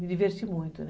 Me diverti muito, né?